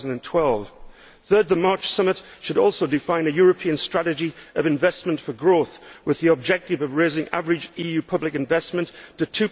2012. Third, the March Summit should also define a European strategy of investment for growth with the objective of raising average EU public investment to